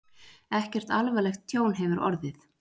Ekkert alvarlegt tjón hefur orðið